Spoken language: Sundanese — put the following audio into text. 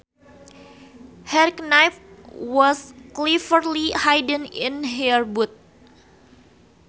Her knife was cleverly hidden in her boot